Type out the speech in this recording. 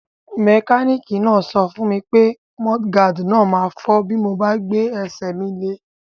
Mẹkánìkì náà sọ fún mi pé mudguard náà ma fọ́ bí mo bá gbé ẹsẹ̀ mi lé